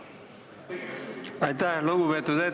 Aitäh, hea eesistuja!